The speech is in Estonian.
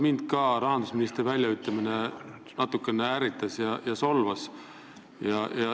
Ma pean tunnistama, et ka mind natukene ärritas ja solvas rahandusministri väljaütlemine.